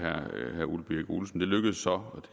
herre ole birk olesen det lykkedes så og